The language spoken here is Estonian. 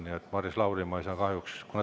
Nii et, Maris Lauri, ma ei saa kahjuks.